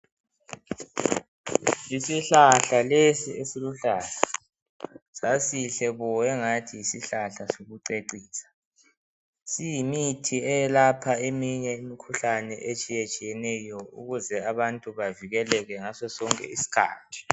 Yisihlahla lesi esiluhlaza. Sasihle bo engathi yisihlahla sokucecisa. Siyimithi eyelapha eminye imikhuhlane etshiyatshiyeneyo ukuze abantu bavikeleke ngasosonke isikhathi.